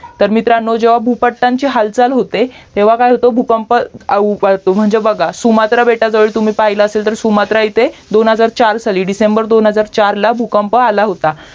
तर मित्रानो जेव्हा भूपट्टाची हालचाल होते तेव्हा काय होतो भूकंप म्हणजे बघा सुमात्रा बेटाजवळ तुम्ही पाहिलं असेल तर सुमात्रा इथे दोन हजार चार साली डिसेंबर दोन हजार चारला भूकंप आला होता